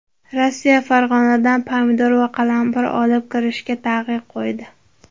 Rossiya Farg‘onadan pomidor va qalampir olib kirishga taqiq qo‘ydi.